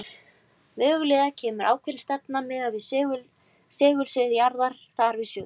Mögulega kemur ákveðin stefna miðað við segulsvið jarðar þar við sögu.